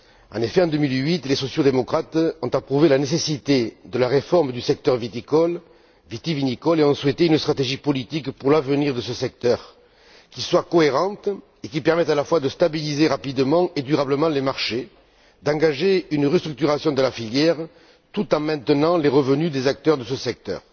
En effet, en 2008, les sociaux démocrates ont approuvé la nécessité de la réforme du secteur vitivinicole et ont souhaité une stratégie politique pour l'avenir de ce secteur qui soit cohérente et qui permette à la fois de stabiliser rapidement et durablement les marchés, d'engager une restructuration de la filière, tout en maintenant les revenus des acteurs de ce secteur.